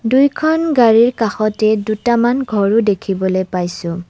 দুইখন গাড়ীৰ কাষতে দুটামান ঘৰো দেখিবলৈ পাইছোঁ।